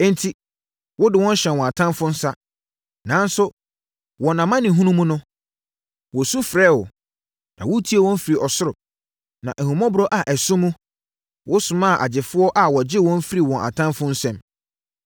Enti, wode wɔn hyɛɛ wɔn atamfoɔ nsa. Nanso, wɔn amanehunu mu no, wɔsu frɛɛ wo, na wotiee wɔn firi ɔsoro. Na ahummɔborɔ a ɛso mu, wosomaa agyefoɔ a wɔgyee wɔn firii wɔn atamfoɔ nsam.